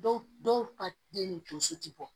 Dɔw dɔw ka den ni tonso ti bɔ